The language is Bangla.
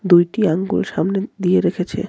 দুইটি আঙ্গুল সামনে দিয়ে রেখেছে.